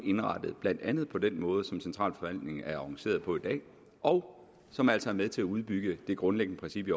indrettet blandt andet på den måde som centralforvaltningen er organiseret på i dag og som altså er med til at udbygge det grundlæggende princip i